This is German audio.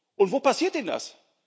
Und wo passiert denn das?